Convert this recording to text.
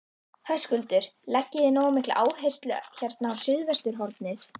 Höskuldur: Leggið þið nógu mikla áherslu hérna á suðvesturhornið?